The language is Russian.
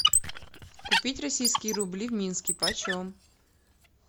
купить российские рубли в минске почем